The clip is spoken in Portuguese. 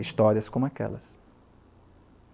histórias como aquelas.